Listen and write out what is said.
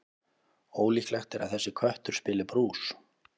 Ólíklegt er að þessi köttur spili brús.